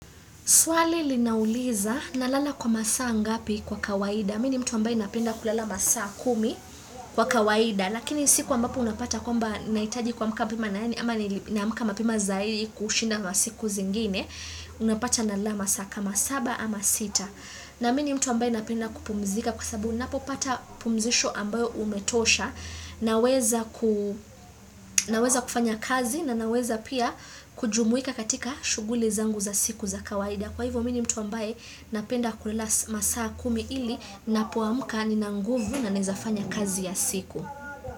Swali lina uliza nalala kwa masaa ngapi kwa kawaida. Mimi ni mtu ambaye napenda kulala masaa kumi kwa kawaida. Lakini siku ambapo unapata kwamba nahitaji kuamka mapema na yani. Ama nina amka mapema zaidi kushinda masiku zingine. Unapata nalala masaa kama saba ama sita. Na mimi ni mtu ambaye napenda kupumzika. Kwa sababu unapopata pumzisho ambayo umetosha, naweza ku Naweza kufanya kazi na ninaweza pia kujumuika katika shuguli zangu za siku za kawaida. Kwa hivyo mimi ni mtu ambaye napenda kulala masaa kumi ili napoamka nina nguvu na naweza fanya kazi ya siku.